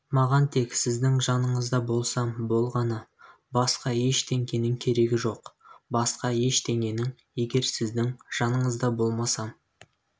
маған тек сіздің жаныңызда болсам болғаны басқа ештеңенің керегі жоқ басқа ештеңенің егер сіздің жаныңызда болмасам